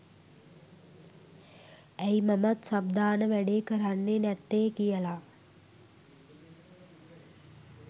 ඇයි මමත් සබ් දාන වැඩේ කරන්නේ නැත්තේ කියලා